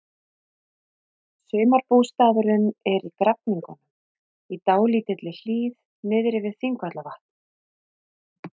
Sumarbústaðurinn er í Grafningnum, í dálítilli hlíð niðri við Þingvallavatn.